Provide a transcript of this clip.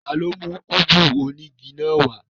Tani o mu kúbú onigi naa wa?